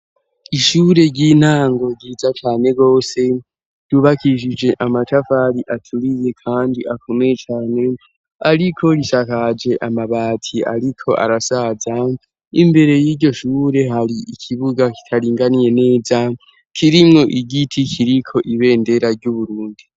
Ishure ry'intango ryiza cane gose ryubakishije amatavari aturiye kandi akomeye cyane ariko risakaje amabati ariko arasaza imbere y'iryo shure hari ikibuga kitaringaniye neza kirimwo igiti kiriko ibendera ry'Uburundi.